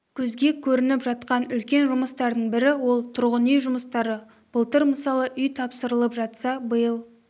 көзге көрініп жатқан үлкен жұмыстардың бірі ол тұрғын үй жұмыстары былтыр мысалы үй тапсырылып жатса биыл